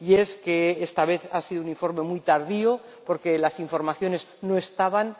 Y es que, esta vez, ha sido un informe muy tardío, porque las informaciones no estaban.